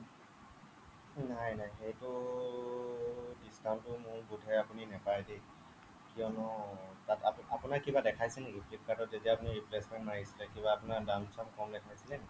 নাই নাই সেইটো discount আপুনি মোৰ বোধে আপুনি নাপায় দেই কিয়নো তাত আপোনাৰ কিবা দেখাইছে নেকি flipkartত যেতিয়া আপুনি replacement মাৰিছিলে কিবা আপোনাৰ দাম চাম কম দেখাইছিলে নেকি